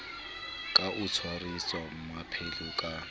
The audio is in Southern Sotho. ka o tshwarisa mmamphele ka